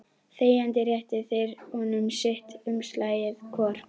Þegjandi réttu þeir honum sitt umslagið hvor.